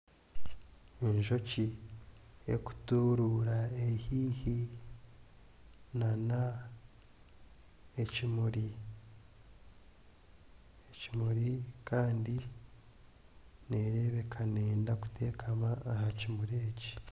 Enjoki erikuturuura eri haihi n'ekimuri kandi neerebeka neeyenda kuteekama aha kimuri eki